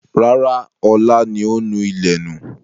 Rárá, ọ̀la ni ó nù ilẹ̀ nù.